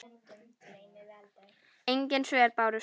Engin svör bárust.